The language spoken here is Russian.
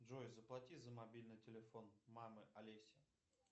джой заплати за мобильный телефон мамы олеси